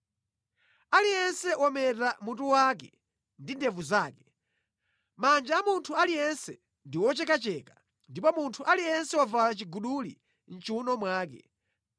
Aliyense wameta mutu wake ndi ndevu zake; manja a munthu aliyense ndi ochekacheka, ndipo munthu aliyense wavala chiguduli mʼchiwuno mwake.